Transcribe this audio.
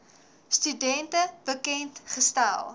studente bekend gestel